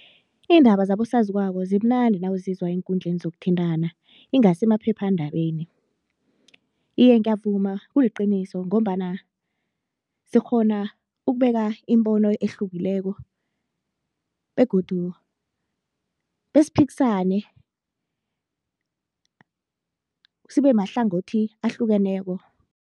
Iindaba zabosaziwako zimnandi nawuzizwa eenkundleni zokuthintana ingasi emaphephandabeni. Iye ngiyavuma kuliqiniso ngombana sikghona ukubeka imibono ehlukileko begodu besiphikisane sibe mahlangothi ahlukeneko.